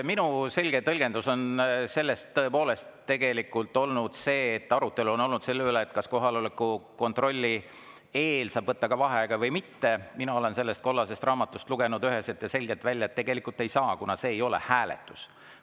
Minu selge tõlgendus on sellest tõepoolest tegelikult olnud see – kui arutelu on olnud selle üle, kas kohaloleku kontrolli eel saab võtta vaheaega või mitte –, mina olen sellest kollasest raamatust lugenud üheselt ja selgelt välja, et tegelikult ei saa, kuna see ei ole hääletus.